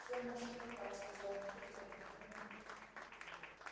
все в наших руках сказал мужик и подмигнул мне